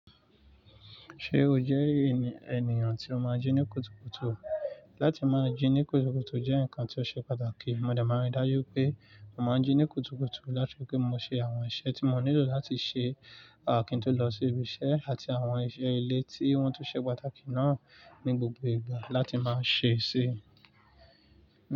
Ṣé o jẹ́ ènìyàn tí o máa ń jí ní kùtùkùtù? Láti máa jí ní kùtùkùtù jẹ́ nǹkan tí ó ṣe pàtàkì. Mo dẹ̀ máa rí dájú pé mo máa ń jí ní kùtùkùtù láti fi pé mo ṣe àwọn iṣẹ́ tí mo nílò láti ṣe, àh, kí n tó lọ sí ibiṣẹ́ àti àwọn iṣẹ́ ilé tí wọ́n tun ṣe pàtàkì náà ní gbogbo ìgbà láti máa ṣe síi.